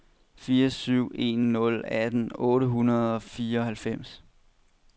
fire syv en nul atten otte hundrede og fireoghalvfems